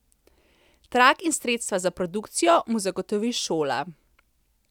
Trak in sredstva za produkcijo mu zagotovi šola.